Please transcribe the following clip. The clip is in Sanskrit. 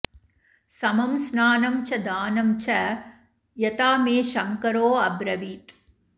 समं स्नानं च दानं च यथा मे शंकरोऽब्रवीत्